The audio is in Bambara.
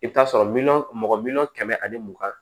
I bɛ t'a sɔrɔ miliyɔn mɔgɔ miliyɔn kɛmɛ ani mugan